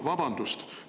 Vabandust!